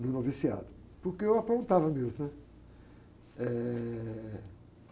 no noviciato, porque eu apontava mesmo, né? Eh...